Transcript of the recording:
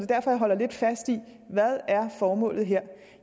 derfor jeg holder lidt fast i hvad formålet her